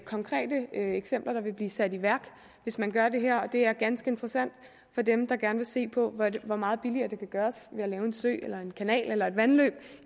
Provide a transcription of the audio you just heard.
konkrete eksempler der vil blive sat i værk hvis man gør det her og det er ganske interessant for dem der gerne vil se på hvor meget billigere det kan gøres ved at lave en sø eller en kanal eller et vandløb